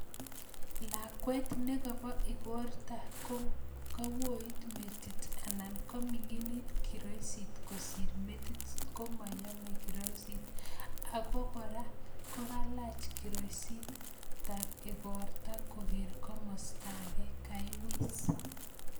Lakwet nekobo ikorta ko kaet metit anan kaminginit kiroisit kosir metit komoyome kiroisit, ako kora kokalaj kiroisit ab ikorta koker komosto ake, kaiwis.